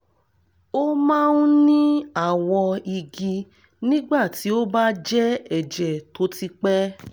ó ó máa ń ní àwọ̀ igi nígbà tí ó bá jẹ́ ẹ̀jẹ̀ tó ti pẹ́